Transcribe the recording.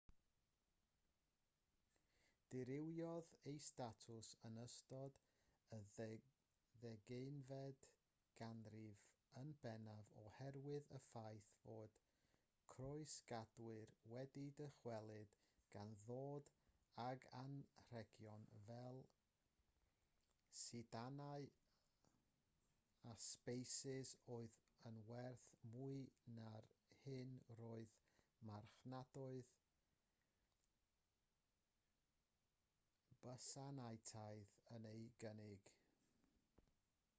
dirywiodd ei statws yn ystod y ddeuddegfed ganrif yn bennaf oherwydd y ffaith fod croesgadwyr wedi dychwelyd gan ddod ag anrhegion fel sidanau a sbeisys oedd yn werth mwy na'r hyn roedd marchnadoedd bysantaidd yn ei gynnig